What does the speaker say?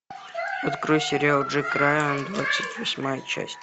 открой сериал джек райан двадцать восьмая часть